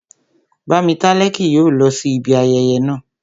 Bámitálẹ́ kì yóò lọ sí ibi ayẹyẹ naa